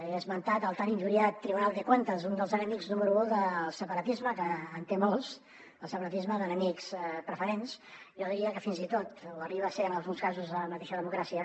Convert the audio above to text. he esmentat el tan injuriat tribunal de cuentas un dels enemics número u del separatisme que en té molts el separatisme d’enemics preferents jo diria que fins i tot ho arriba a ser en alguns casos la mateixa democràcia